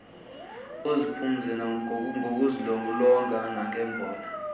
uziphumze ngokuzilolonga nangebhola